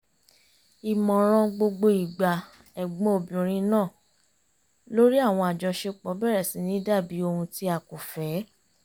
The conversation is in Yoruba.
ìmọ̀ràn gbogbo ìgbà ẹ̀gbọ́n obìnrin náà lórí àwọn àjọṣepọ̀ bẹ̀rẹ̀ sì ní dàbí ohun ti a kò fẹ́